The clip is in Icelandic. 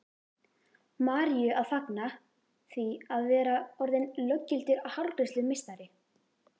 Maríu að fagna því að vera orðin löggildur hárgreiðslumeistari.